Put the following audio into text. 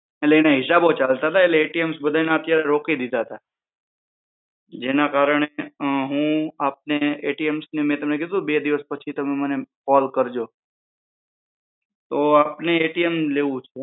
હિસાબો ચાલે રોકી દીધા હતા જેના કારણે હું આપણે થી મેં તને કીધું બે દિવસ પછી તમે મને ફોન કરજો તો આપણે લેવું